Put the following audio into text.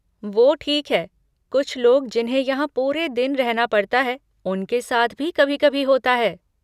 वो ठीक है, कुछ लोग जिन्हें यहाँ पूरे दिन रहना पड़ता है, उनके साथ भी कभी कभी होता है।